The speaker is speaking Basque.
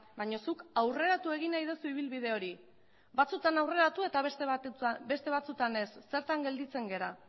baina zuk aurreratu egin nahi duzu ibilbide hori batzutan aurreratu eta beste batzutan ez zertan gelditzen gara